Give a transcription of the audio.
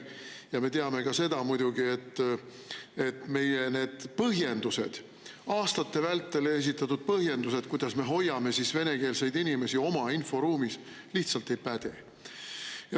Ja me teame muidugi ka seda, et aastate vältel esitatud põhjendused, miks me hoiame venekeelseid inimesi oma inforuumis, lihtsalt ei päde.